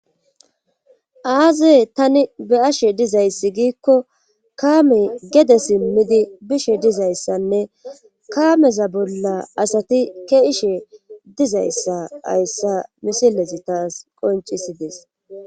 Aaze tani be ashe dizayssi giikko kaame gede simmidi bishe dizayssanne kaameza bolla asati ke ishe dizayssa hayssa misilesi taas qoncisides.